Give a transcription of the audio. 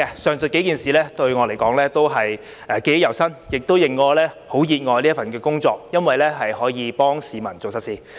上述幾件事，對我來說都是記憶猶新，亦令我很熱愛這份工作，因為可以幫市民做實事。